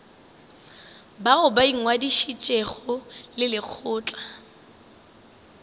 bao ba ingwadišitšego le lekgotla